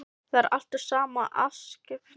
Það er alltaf sama afskiptasemin í henni.